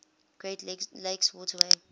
great lakes waterway